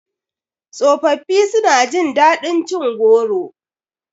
Tsofafi su na jin daɗin cin goro